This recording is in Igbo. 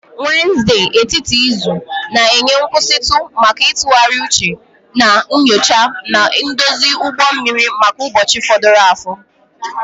Wednesde, etiti izu, na-enye nkwụsịtụ maka ntụgharị uche na nyocha, na-edozi ụgbọ mmiri maka ụbọchị fọdụrụnụ